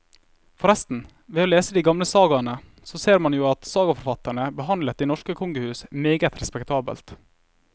Forresten, ved å lese de gamle sagaene så ser man jo at sagaforfatterne behandlet de norske kongehus meget respektabelt.